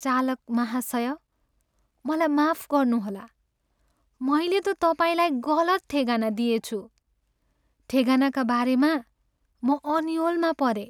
चालक महाशय! मलाई माफ गर्नुहोला। मैले त तपाईँलाई गलत ठेगाना दिएछु। ठेगानाका बारेमा म अन्योलमा परेँ।